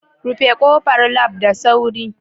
Rufe kofar Lab da sauri